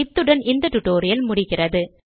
இத்துடன் இந்த டுடோரியல் முடிகிறது